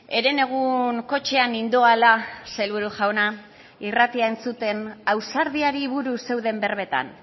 herenegun kotxean nindoala sailburu jauna irratia entzuten ausardiari buruz zeuden berbetan